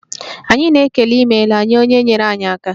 Anyị na-ekele 'imela' nye onye nyeere anyị aka.